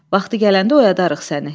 Vaxtı gələndə oyadarıq səni.